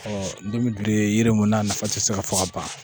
Ɔ ntomi bilen yiri mun na na nafa tɛ se ka fɔ ka ban.